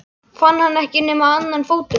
Fann hann ekki nema annan fótinn á þér?